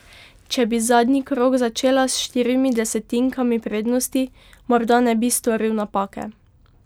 Če bi zadnji krog začel s štirimi desetinkami prednosti, morda ne bi storil napake.